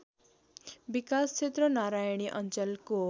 विकासक्षेत्र नारायणी अञ्चलको